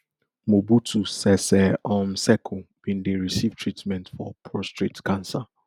mobutu sese um seko bin dey recieve treatment for prostate cancer